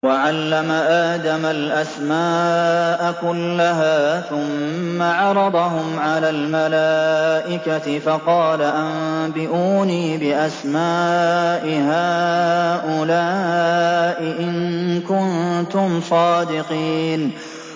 وَعَلَّمَ آدَمَ الْأَسْمَاءَ كُلَّهَا ثُمَّ عَرَضَهُمْ عَلَى الْمَلَائِكَةِ فَقَالَ أَنبِئُونِي بِأَسْمَاءِ هَٰؤُلَاءِ إِن كُنتُمْ صَادِقِينَ